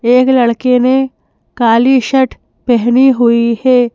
एक लड़के ने काली शर्ट पेहनी हुई है।